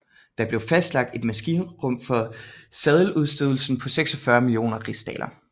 Der blev fastlagt et maksimum for seddeludstedelsen på 46 millioner rigsdaler